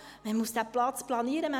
Man muss diesen Platz planieren.